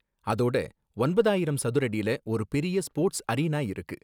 அதோட ஒன்பதாயிரம் சதுரடில ஒரு பெரிய ஸ்போர்ட்ஸ் அரீனா இருக்கு.